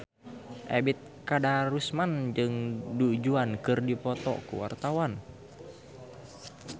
Ebet Kadarusman jeung Du Juan keur dipoto ku wartawan